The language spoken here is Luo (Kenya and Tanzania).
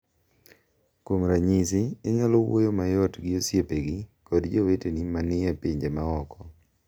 Kuom ranyisi, inyalo wuoyo mayot gi osiepegi kod joweteni ma ni e pinje ma oko.